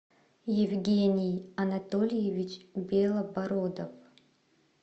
евгений анатольевич белобородов